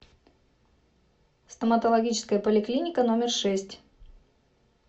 стоматологическая поликлиника номер шесть